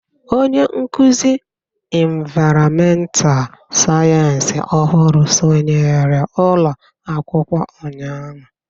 Onye nkụzi ịnvaịrọmental sayensị ọhụrụ sọnyere ụlọ akwụkwọ ụnyahụ.